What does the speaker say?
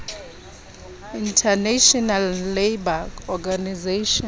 international labour organization